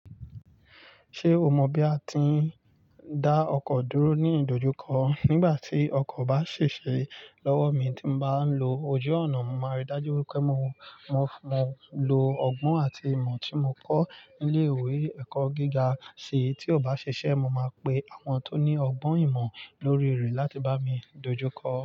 Ṣé o mọ bí a ti ń dá ọkọ̀ dúró ní ìdojúkọ? Nígbà tí ọkọ̀ bá ṣèṣe lọ́wọ́ mi tí mo bá ń lo ojú ọ̀nà, mo màa rí dájú wípé mo, mo, mo lo ọgbọ́n àti ìmọ̀ tí mo kọ́ nílé ìwé ẹ̀kọ́ gíga se, tí ò bá ṣiṣẹ́, mo máa pe àwọn tó ní ọgbọ́n ìmọ̀ lórí rẹ̀ láti bá mi dojúkọ ọ́.